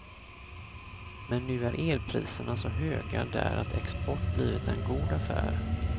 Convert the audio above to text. Men nu är elpriserna så höga där att export blivit en god affär.